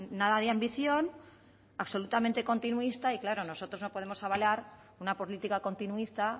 nada de ambición absolutamente continuista y claro nosotros no podemos avalar una política continuista